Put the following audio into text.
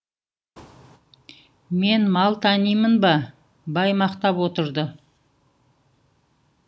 мен мал танимын ба бай мақтап отырды